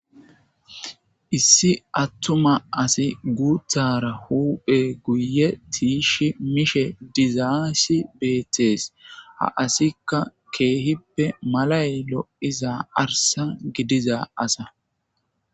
issi attuma asi guuthara huuphe guye tiishi mishe dizaayssi beettees ha asikka keehippe malay lo'iza arsa gidiza asa